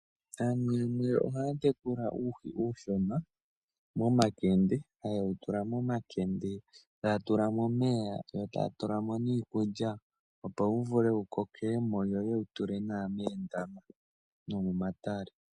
Aantu yamwe ohaya tekula uuhi uushona momakende, taye wu tula momakende taya tula mo omeya yo taya tula mo niikulya opo wuvule wukoke yo yewutule moondama nomomatale